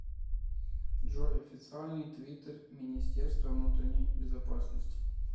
джой официальный твиттер министерство внутренней безопасности